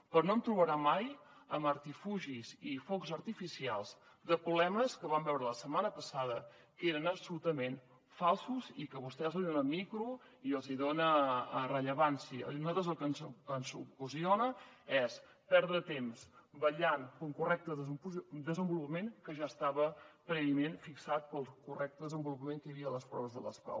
però no em trobarà mai amb artificis i focs artificials de problemes que vam veure la setmana passada que eren absolutament falsos i que vostès els donen micro i els donen rellevància i a nosaltres el que ens ocasiona és perdre temps vetllant per un correcte desenvolupament que ja estava prèviament fixat pel correcte desenvolupament que hi havia a les proves de les pau